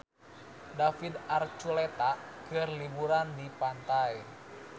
David Archuletta keur liburan di pantai